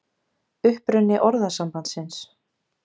Uppruni orðasambandsins